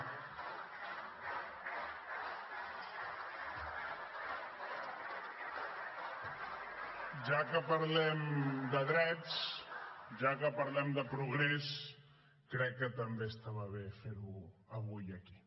ja que parlem de drets ja que parlem de progrés crec que també estava bé fer ho avui aquí